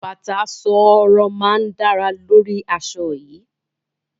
Bàtà ṣooro máa dáa lórí aṣọ yìí.